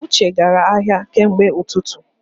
Uche gara ahịa kemgbe ututu